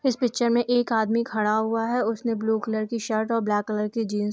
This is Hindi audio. इस पिक्चर में एक आदमी खड़ा हुआ है उसने ब्लू कलर की शर्ट और ब्लैक कलर की जीन्स --